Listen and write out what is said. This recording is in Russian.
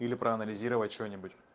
или проанализировать что-нибудь